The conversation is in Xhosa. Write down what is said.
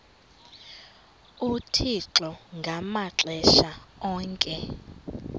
uthixo ngamaxesha onke